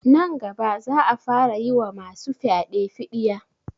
Nan gaba za a fara yi wa ma su fyaɗe fiɗiya